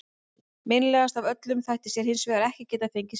Meinlegast af öllu þætti sér hins vegar að geta ekki fengið te.